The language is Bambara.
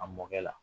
A mɔkɛ la